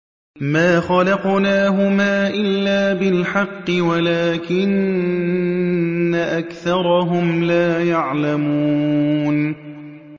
مَا خَلَقْنَاهُمَا إِلَّا بِالْحَقِّ وَلَٰكِنَّ أَكْثَرَهُمْ لَا يَعْلَمُونَ